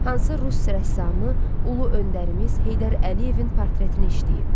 Hansı rus rəssamı ulu öndərimiz Heydər Əliyevin portretini işləyib?